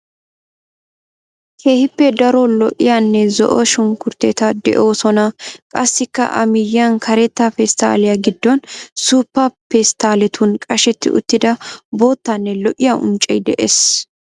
Keehippe daro lo"iyaanne zo"o sunkkuruteeti de'oosona. Qassikka a miyiyan kareta pestaalliyaa giddon suuppa pesttaaletun qashetti uttida boottanne lo"iyaa unccay de'ees.